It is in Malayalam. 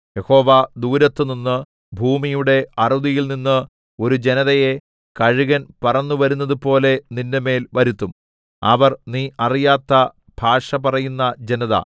യഹോവ ദൂരത്തുനിന്ന് ഭൂമിയുടെ അറുതിയിൽനിന്ന് ഒരു ജനതയെ കഴുകൻ പറന്നു വരുന്നതുപോലെ നിന്റെമേൽ വരുത്തും അവർ നീ അറിയാത്ത ഭാഷ പറയുന്ന ജനത